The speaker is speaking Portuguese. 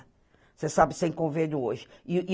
Você sabe, sem convênio hoje.